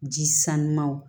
Ji sanuyaw